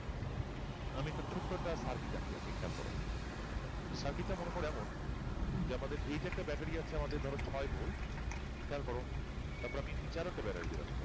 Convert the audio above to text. আমি একটা ছোট্ট একটা circuit আঁকি একটা খেয়াল করও circuit টা মনে করে এমন যে এটা একটা ব্যাটারি আছে আমাদের ছয় ভোল্ট খেয়াল করো তারপর আমি নিচে একটা ব্যাটারি দিলাম ধরো খেয়াল করো